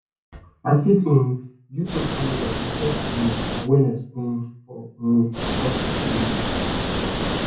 i fit um use social media to spread awareness awareness um for um causes wey dey matter